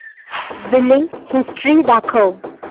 billing history दाखव